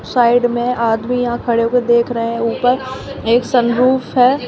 Side में आदमी यहां खड़े होके देख रहे हैं ऊपर एक सनरूफ है।